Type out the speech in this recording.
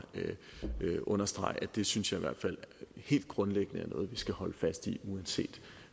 understrege at det synes jeg i hvert fald helt grundlæggende er noget vi skal holde fast i uanset